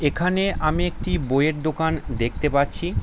এখানে আমি একটি বই-এর দোকান দেখতে পাচ্ছি ।